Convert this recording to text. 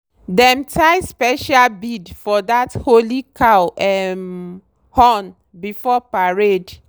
dem tie special bead for that holy cow um horn before parade.